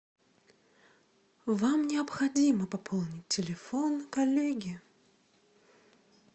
вам необходимо пополнить телефон коллеги